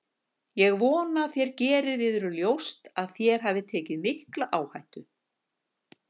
Ég vona þér gerið yður ljóst að þér hafið tekið mikla áhættu.